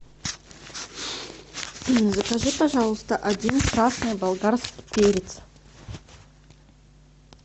закажи пожалуйста один красный болгарский перец